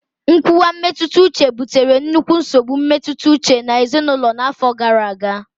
nkuwa mmetụta uche butere nnukwu nsogbu mmetụta uche na ezinaụlọ n'afọ gara aga.